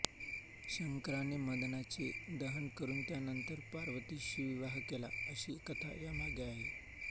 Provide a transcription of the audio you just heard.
शंकराने मदनाचे दहन करून त्यानंतर पार्वतीशी विवाह केला अशी कथा यामागे आहे